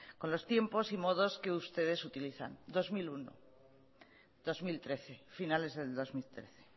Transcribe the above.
con los tiempos y modos que ustedes utilizan dos mil uno dos mil trece finales del dos mil trece